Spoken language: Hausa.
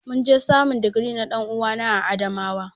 Mun je samun digiri na dan'uwana a Adamawa.